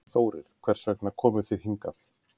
Þórir: Hvers vegna komu þið hingað?